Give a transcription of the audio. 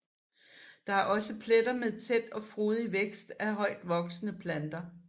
Der er også pletter med tæt og frodig vækst af højtvoksende planter